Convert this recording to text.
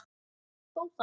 Þó það.